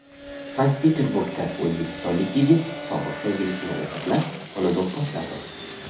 Sankt-Peterburgda o‘zbekistonlik yigit sobiq sevgilisini o‘g‘irlab, uni do‘pposladi.